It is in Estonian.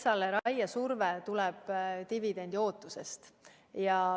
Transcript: Raiesurve riigimetsale tuleb dividendiootusest.